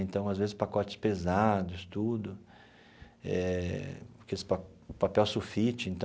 Então, às vezes, pacotes pesados, tudo eh, aqueles pa o papel sulfite então.